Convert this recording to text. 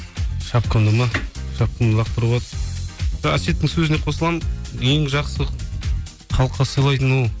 шапкамды ма шапкамды лақтыруға әсеттің сөзіне қосыламын ең жақсы халыққа сыйлайтын ол